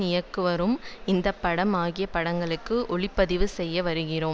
இயக்கிவரும் இந்தி படம் ஆகிய படங்களுக்கு ஒளிப்பதிவு செய்து வருகிறாராம்